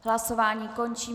Hlasování končím.